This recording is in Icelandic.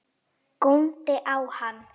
Góndi á hann.